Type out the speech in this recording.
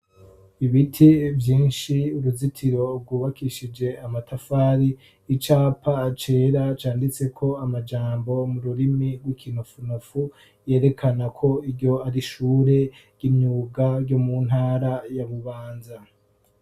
Ibiti vyinshi, uruzitiro rwubakishije amatafari. Icapa cera canditseko amajambo mu rurimi rw'ikinofunofu, yerekana ko iryo ari ishure ry'imyuga ryo mu ntara ya Bubanza.